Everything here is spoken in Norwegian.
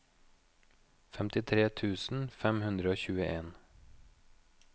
femtitre tusen fem hundre og tjueen